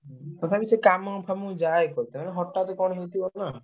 ତଥାପି ସେ କାମ ଫାମକୁ ଯାଏ କରିତେ ମାନେ ହଠାତ୍ କଣ ହେଇଥିବ ନା?